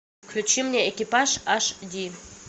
включи мне экипаж аш ди